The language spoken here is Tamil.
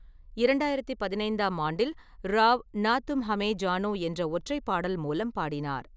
இரண்டாயிரத்தி பதினைந்தாம் ஆண்டில், ராவ் "நா தும் ஹ்யூமின் ஜானோ" என்ற ஒற்றைப்பாடல் மூலம் பாடினார்.